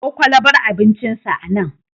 Kawo kwalbar abincinsa anan.